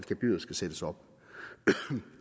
gebyret skal sættes op